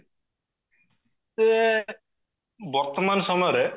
ବର୍ତମାନ ସମୟରେ